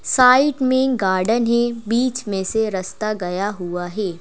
Side में garden है बीच में से रास्ता गया हुआ है।